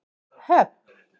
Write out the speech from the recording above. Höfn